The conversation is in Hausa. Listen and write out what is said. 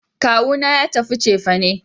Kawu na ya tafi cefane